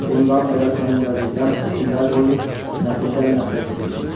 Bundan belə sənin vəzifən əsrlər boyu nəsildən nəslə keçəcək.